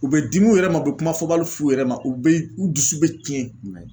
U bɛ dim u yɛrɛ ma , u bɛ kuma fɔbali f'u yɛrɛ ma, u bɛ u dusu bɛ tiɲɛ